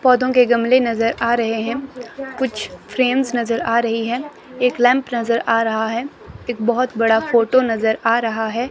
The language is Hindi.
पौधों के गमले नजर आ रहे हैं कुछ फ्रेम्स नजर आ रही हैं एक लैंप नजर आ रहा है एक बहोत बड़ा फोटो नजर आ रहा है।